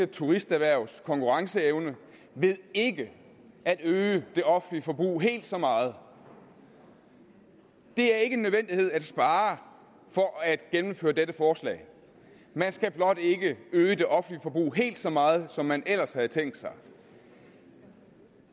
turisterhvervs konkurrenceevne ved ikke at øge det offentlige forbrug helt så meget det er ikke en nødvendighed at man sparer for at man gennemføre dette forslag man skal blot ikke øge det offentlige forbrug helt så meget som man ellers havde tænkt sig